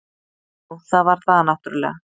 Jú, það var það náttúrulega.